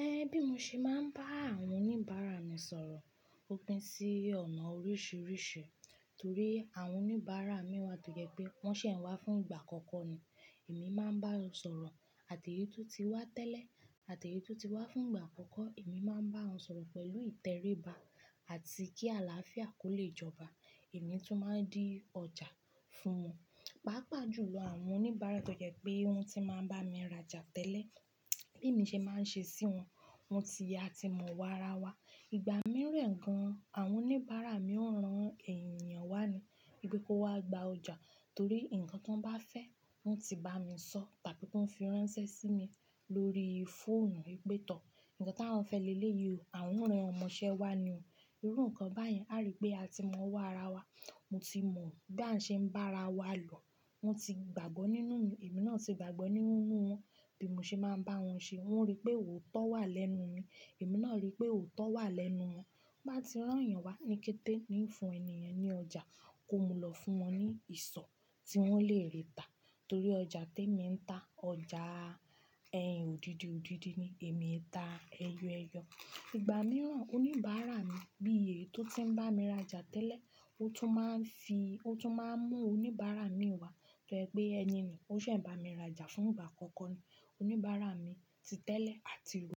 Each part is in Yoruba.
Ẹn, bí mo ṣe máa ń bá àwọn oníbàárà mi sọ̀rọ̀ ó pín sí ọ̀nà oríṣìíríṣìí. Torí àwọn oníbàárà mi wà tó jẹ́ pé wọ́n ṣẹ̀ wá fún ìgbà àkọ́kọ́ ni. Èmi máa ń bá wọn sọ̀rọ̀ àti èyí tó ti wá tẹ́lẹ̀, àti èyí tó ti wá fún ìgbà àkọ́kọ́, èmi máa ń bá wọn sọ̀rọ̀ pẹ̀lú ìtẹríba àti kí àlàáfíà kó lè jọba. Èmi tó máa ń di ọjà fún wọn. Pàápàá jù lọ, àwọn oníbàárà tó jẹ́ pé wọ́n ti máa ń bá mi rajà tẹ́lẹ̀, bí mo ṣe máa ń ṣe sí wọn, wọ́n ti ya ti mọ wá ara wa. Ìgbà mìíràn gan, àwọn oníbàárà mi ó ran ẹ̀yàn wá ni, wípé kó wá gba ọjà torí ǹkan tó ń bá fẹ́ wọn ti bá mi sọ tàbí pé wọ́n fi ránṣẹ́ sí mi lórí fóònù ìpètọ́. Ǹkan tí awọ́n fẹ́ lélẹ̀ yí o, àwọn ń ran ọmọṣẹ́ wá ni o. Irú nǹkan báyìí a rí pé a ti mọ wá ara wa. Wọ́n ti mọ bí à ń ṣe ń bá ara wa lọ. Wọ́n ti gbàgbọ́ nínú mi, èmi náà ti gbàgbọ́ nínú wọn. Bí mo ṣe máa ń bá wọn ṣe, wọ́n rí pé òótọ́ wà lẹ́nu mi, èmi náà rí pé òótọ́ wà lẹ́nu wọn. Bá ti rán ẹ̀yàn wá ní kété ni í fún ẹni ẹni ọjà kó mú lọ fún wọn ní ìsọ̀ tí wọ́n lè ríta. Torí ọjà tí èmi ń ta, ọjà ẹyin òdidi-òdidi ni, èmi ń ta ẹyọ-ẹyọ. Ìgbà mìíràn oníbàárà mi bí èyí tó ti ń bá mi rajà tẹ́lẹ̀, ó tún máa ń fi-- ó tún máa ń mú oníbàárà mi wá tó jẹ́ pé ẹni ni ó ṣẹ̀ bá mi rajà fún ìgbà àkọ́kọ́ ni. Oníbàárà mi ti tẹ́lẹ̀ àti rò.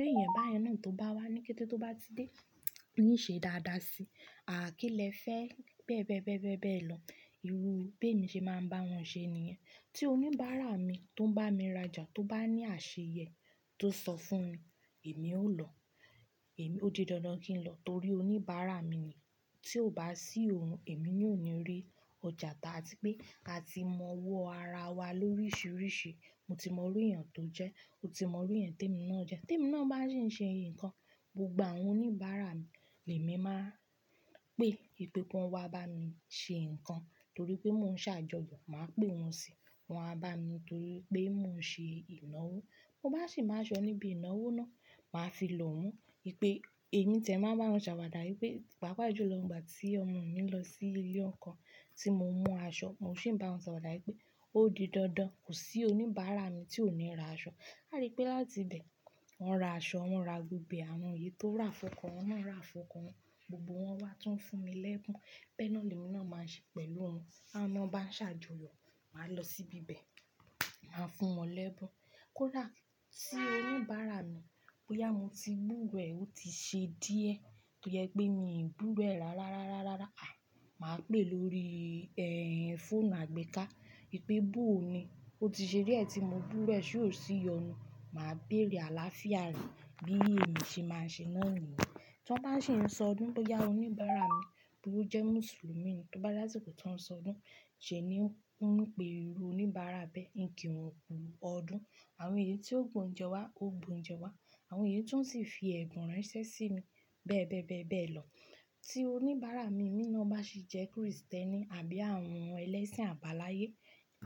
Béèyẹn báyẹn náà tó bá wá ní kété tó bá ti dé ní ṣe dáadáa síi. Ààh, kí lẹ́fẹ́ bẹ́ẹ́bẹẹ́ bẹ́ẹ́bẹẹ́ bẹ́ẹ̀ lọ. Irú bí èmi ṣe máa ń bá wọn ṣe ni ìyẹn. Tí oníbàárà mi tó ń bá mi rajà tó bá ní àṣeyẹ tó sọ fún mi, èmi ó lọ. Èmi ó di dandan kí n lọ torí oníbàárà mi ni. Tí ò bá sí òun, èmi yóò ní rí ọjà ta àti pé a ti mọ wọ́ ara wa lóríṣìíríṣìí. Mo ti mọ irú èèyàn tó jẹ́, ó ti mọ irú èyán tí èmi náà jẹ́. Tí èmi náà bá sì ń ṣe nǹkan, gbogbo àwọn oníbàárà mi lè máa pé ìpé kí wọ́n wá bá mi ṣe nǹkan torí pé mò ń ṣàjọyọ̀, màá pè wọ́n sí i, wọ́n á bá mi torí pé mò ń ṣe ìnáwó. Mo bá sì máa ṣọ níbi ìnáwó náà, màá fi lọ̀ wọ́n wípé èmi tẹ̀ẹ́ máa bá wọn ṣàwàdà wípé pàápàá jù lọ ìgbà tí ọmọ mi ń lọ sí ilé ọkọ, tí mo mú aṣọ, mo sì ń bá wọn ṣàwàdà wípé ó di dandan, kò sí oníbàárà mi tí ò ní ra aṣọ. A rí pé láti ibẹ̀, wọ́n ra aṣọ, wọ́n ra gbogbo àwọn èyí tó rà fún ọkọ, wọ́n náà ra fún ọkọ wọn. Gbogbo wọ́n wá tún fún mi lẹ́bùn. Bẹ́ẹ́ náà ni èmi náà máa ṣe pẹ̀lú wọn. Ána bá ń ṣàjọyọ̀, màá lọ síbi ibẹ̀, màá fún wọn lẹ́bùn. Kó lá sí oníbàárà mi pé yà mo ti búwẹ̀ ó ti ṣe díẹ̀, tójẹ́pẹ́ mi búwẹ̀ ẹ̀ rárá rárá rárá rárá. À, màá pè lórí, ẹ́hìn, fóònù àgbéká wípé bú òun ni. Ó ti ṣe díẹ̀ tí mo búwẹ̀ ṣé ò sí yọ̀nù. Màá bèrè àlàáfíà rẹ̀ bí èmi ṣe máa ń ṣe náà nìyẹn. Tí wọ́n bá sì ń sọ ọdún, bóyá oníbàárà mi, bí ó bá jẹ́ Mùsùlùmí ni, tó bá jẹ́ àsìkò tó n ó sọ ọdún. Ṣé ẹni náà ó ń pè irú oníbàárà bẹ́ẹ̀ ní kí wọ́n kú ọdún. Àwọn èyí tí ó gbòǹjẹ wá ó gbòǹjẹ wá. Àwọn èyí tó sì fi ẹ̀bùn ránṣẹ́ sí mi bẹ́ẹ́bẹẹ́ bẹ́ẹ́bẹẹ́ lọ. Tí oníbàárà mi, èmi náà bá sì jẹ́ Krìstẹ́nì àbí àwọn ẹlẹ́sìn àbáláyé,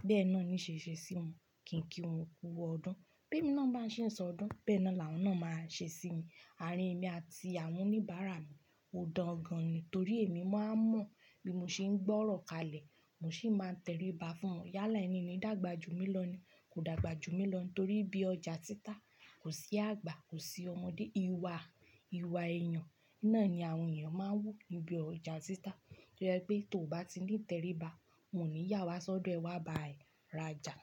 bẹ́ẹ́ náà ni í ṣe ṣe sí wọn. Kì í kí wọn kú ọdún. Béèmi náà bá sì ń sọ ọdún bẹ́ẹ́ náà làwọn náà máa ṣe sí mi. Àárín èmi àti àwọn oníbàárà mi ò dùn gan ni torí èmi máa ń mọ̀ bí mo ṣe ń gbọ́ ọ̀rọ̀ kalẹ̀, mo sì máa ń tẹríba fún wọn. Yálà ẹni ní ìdàgbà jú mi lọ ni kò dàgbà jú mi lọ ni torí bí ọjà títa, kò sí àgbà, kò sí ọmọdé. Iwà, iwà èèyàn náà ni àwọn èèyàn máa ń wọ́ níbi ọjà títa. Tójẹ́ pé tó bá ti ní ìtẹríba, wọ́n ò ní yà wá sọ́dọ̀ ẹ wá ba ẹ rajà.